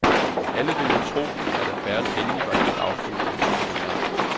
Alle vil nu tro, at affæren endelig var helt afsluttet, men nej.